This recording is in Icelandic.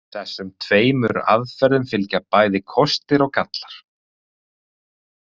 Þessum tveimur aðferðum fylgja bæði kostir og gallar.